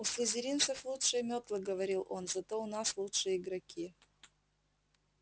у слизеринцев лучшие мётлы говорил он зато у нас лучшие игроки